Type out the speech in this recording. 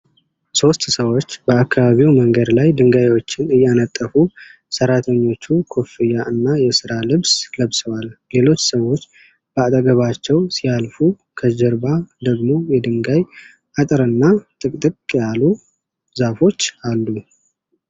ሦስት ሰዎች በአካባቢው መንገድ ላይ ድንጋዮችን እያነጠፉ ። ሠራተኞቹ ኮፍያ እና የሥራ ልብስ ለብሰዋል። ሌሎች ሰዎች በአጠገባቸው ሲያልፉ፣ ከጀርባ ደግሞ የድንጋይ አጥር እና ጥቅጥቅ ያሉ ዛፎች አሉ።